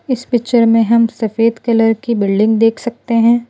इस पिक्चर में हम सफ़ेद कलर की बिल्डिंग देख सकते है।